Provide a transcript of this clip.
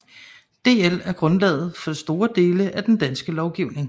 DL er grundlaget for store dele af den danske lovgivning